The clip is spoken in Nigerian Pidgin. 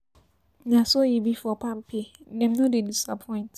Na so e be for palmpay, dem no dey disappoint.